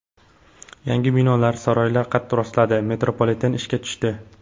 Yangi binolar, saroylar qad rostladi, metropoliten ishga tushdi.